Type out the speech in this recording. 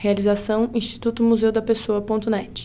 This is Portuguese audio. Realização Instituto Museu da Pessoa.net.